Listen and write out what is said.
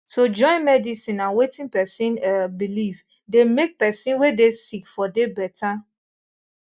to join medicine and wetin pesin eh believe dey make pesin wey dey sick for dey better